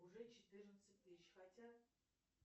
уже четырнадцать тысяч хотя